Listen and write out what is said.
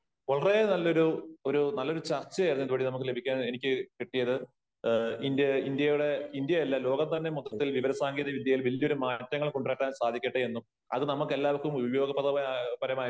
വളരെ നല്ല ഒരു ഒരു നല്ലൊരു ചർച്ചയായിരുന്നു ഇത് വഴി നമുക്ക് ലഭിക്കാൻ എനിക്ക് കിട്ടിയത്. ഇന്ത്യ ഇന്ത്യയുടെ ഇന്ത്യ അല്ല ലോകത്ത് തന്നെ മൊത്തത്തിൽ വിവര സാങ്കേതിക വിദ്യയില് വലിയ ഒരു മാറ്റം മാറ്റങ്ങൾ കൊണ്ട് വരാൻ സാധിക്കട്ടെ എന്നും അത് നമുക്ക് എല്ലാവർക്കും ഉപയോഗപ്രദ മായി